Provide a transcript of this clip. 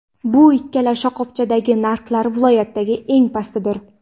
Bu ikkala shoxobchadagi narxlar viloyatdagi eng pastidir.